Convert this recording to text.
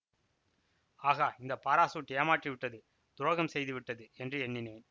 ஆகா இந்த பாராசூட் ஏமாற்றிவிட்டது துரோகம் செய்து விட்டது என்று எண்ணினேன்